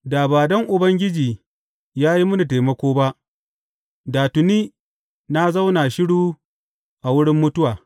Da ba don Ubangiji ya yi mini taimako ba, da tuni na zauna shiru a wurin mutuwa.